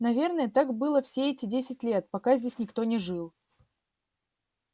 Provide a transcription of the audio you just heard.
наверное так было все эти десять лет пока здесь никто не жил